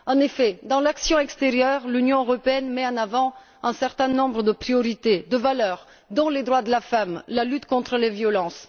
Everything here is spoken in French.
En effet, dans l'action extérieure, l'Union européenne met en avant un certain nombre de priorités, de valeurs, dont les droits de la femme, la lutte contre les violences.